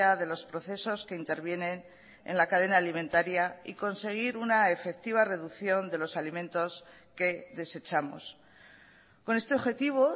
de los procesos que intervienen en la cadena alimentaria y conseguir una efectiva reducción de los alimentos que desechamos con este objetivo